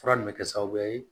Fura nin bɛ kɛ sababu ye